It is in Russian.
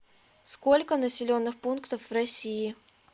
сколько населенных пунктов в россии